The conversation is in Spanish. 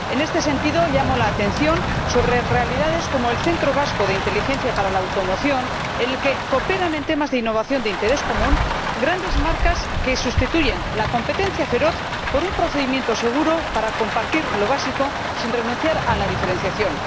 En este sentido, llamo la atención sobre realidades como el centro vasco de inteligencia para la automoción, en el que cooperan —en temas de innovación de interés común— grandes marcas que sustituyen la competencia feroz por un procedimiento seguro para compartir lo básico sin renunciar a la diferenciación.